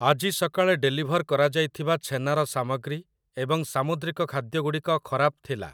ଆଜି ସକାଳେ ଡେଲିଭର୍ କରାଯାଇଥିବା ଛେନାର ସାମଗ୍ରୀ ଏବଂ ସାମୁଦ୍ରିକ ଖାଦ୍ୟ ଗୁଡ଼ିକ ଖରାପ ଥିଲା ।